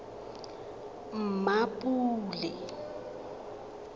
mmapule